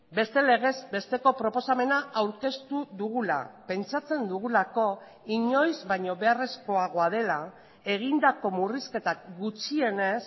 beste legez besteko proposamena aurkeztu dugula pentsatzen dugulako inoiz baino beharrezkoagoa dela egindako murrizketak gutxienez